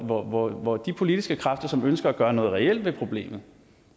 hvor hvor de politiske kræfter som ønsker at gøre noget reelt ved problemet